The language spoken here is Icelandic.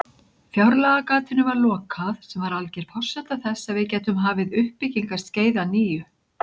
Fjárlagagatinu var lokað sem var alger forsenda þess að við gætum hafið uppbyggingarskeið að nýju.